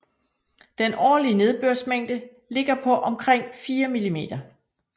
Den årlige nedbørsmængde ligger på omkring 4 mm